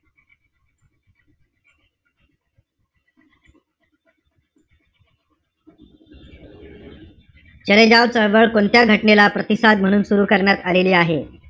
चले जाव चळवळ कोणत्या घटनेला प्रतिसाद म्हणून सुरु करण्यात आलेली आहे?